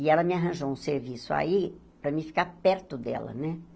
E ela me arranjou um serviço aí, para mim ficar perto dela, né?